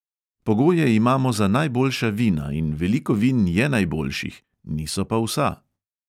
Pogoje imamo za najboljša vina in veliko vin je najboljših, niso pa vsa.